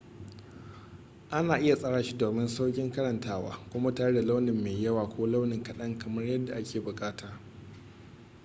ana iya tsara shi domin saukin karantawa kuma tare da launi mai yawa ko launi kadan kamar yadda ake bukata